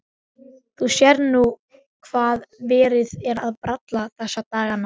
Þú sérð nú hvað verið er að bralla þessa dagana.